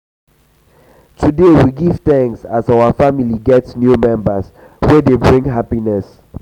today we give thanks as our family get new member wey dey bring wey dey bring happiness.